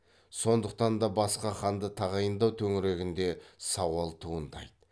сондықтан да басқа ханды тағайындау төңірегінде сауал туындайды